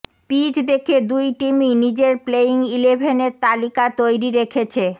pitch দেখে দুই টিমই নিজের প্লেয়িং ইলেভেনের তালিকা তৈরি রেখেছে